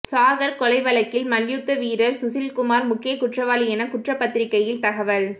சாகர் கொலை வழக்கில் மல்யுத்த வீரர் சுஷில்குமார் முக்கிய குற்றவாளி என குற்றப்பத்திரிகையில் தகவல்